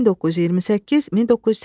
1928-1980.